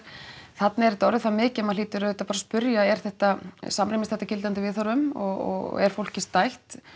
þarna er þetta orðið svo mikið að maður hlýtur auðvitað bara að spyrja er þetta eða samrýmist þetta gildandi viðhorfum og er fólki stætt